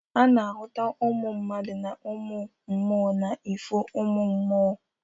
A na-ahụta uMụ mmadụ na uMụ mMụo n'ifo uMụmMụo.